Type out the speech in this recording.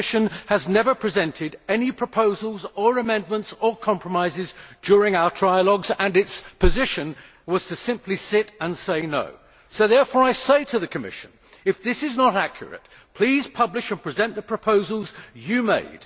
The Commission has never presented any proposals, amendments or compromises during our trialogues, and its position was to simply sit and say No'. So therefore I say to the Commission if this is not accurate, please publish and present the proposals you made.